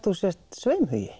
þú sért